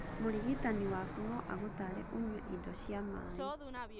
Mũrigitani waku no agũtare ũnyue indo cia maĩ.